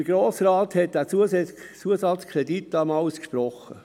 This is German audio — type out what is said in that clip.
Der Grosse Rat hat den Zusatzkredit damals gesprochen.